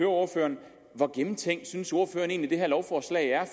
ordføreren hvor gennemtænkt synes ordføreren egentlig det her lovforslag er